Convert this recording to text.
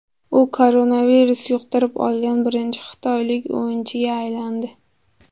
U koronavirus yuqtirib olgan birinchi xitoylik o‘yinchiga aylandi.